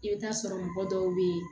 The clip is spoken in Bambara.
I bɛ taa sɔrɔ mɔgɔ dɔw bɛ yen